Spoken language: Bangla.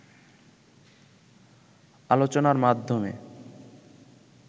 আলোচনার মাধ্যমে